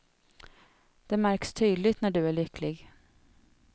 Det märks tydligt när du är lycklig.